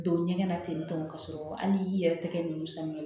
Don ɲɛgɛn na ten tɔ ka sɔrɔ hali i yɛrɛ tɛgɛ ninnu sanni kɛ